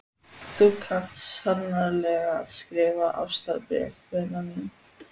Þú kant sannarlega að skrifa ástarbréf, vina mín.